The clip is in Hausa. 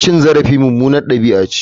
Cin zarafi mummunar dabi'a ce.